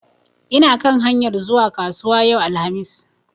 Ina kan hanyar zuwa kasuwa yau alhamis.